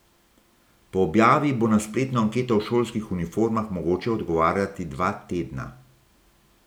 Po objavi bo na spletno anketo o šolskih uniformah mogoče odgovarjati dva tedna.